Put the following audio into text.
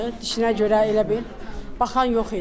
Dişinə görə elə bil baxan yox idi.